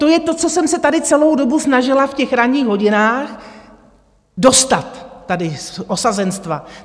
To je to, co jsem se tady celou dobu snažila, v těch ranních hodinách, dostat tady z osazenstva.